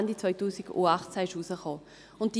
Dieser erschien Ende 2018.